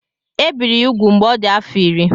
Ebiri ya úgwù mgbe ọ dị afọ iri.